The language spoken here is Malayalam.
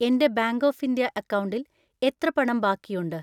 എൻ്റെ ബാങ്ക് ഓഫ് ഇന്ത്യ അക്കൗണ്ടിൽ എത്ര പണം ബാക്കിയുണ്ട്?